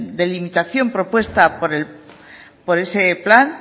delimitación propuesta por ese plan